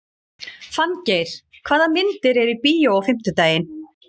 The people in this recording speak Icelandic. Fanngeir, hvaða myndir eru í bíó á fimmtudaginn?